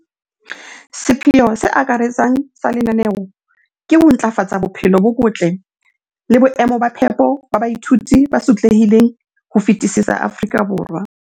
sepheo se akaretsang sa lenaneo ke ho ntlafatsa bophelo bo botle le boemo ba phepo ba baithuti ba sotlehileng ho fetisisa Afrika Borwa.